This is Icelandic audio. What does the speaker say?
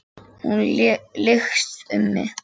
Hún lykst um mig.